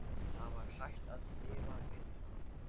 Það var hægt að lifa við það.